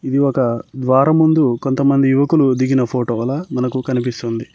ఇది ఒక ద్వారం ముందు కొంతమంది యువకులు దిగిన ఫోటో లా మనకు కనిపిస్తుంది.